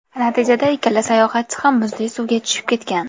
Natijada ikkala sayohatchi ham muzli suvga tushib ketgan.